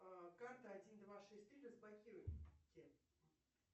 карта один два шесть три разблокируйте